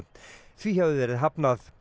því hafi verið hafnað